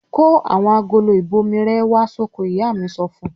"Kó àwọn agolo ìbomirẹ̀ wá sóko!" Ìyá mi so fún un.